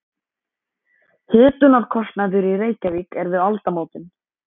Hitunarkostnaður í Reykjavík er við aldamótin